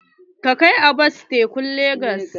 Ka kai Abbas tekun legas!